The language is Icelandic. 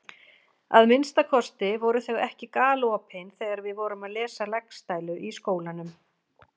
Að minnsta kosti voru þau ekki galopin þegar við vorum að lesa Laxdælu í skólanum.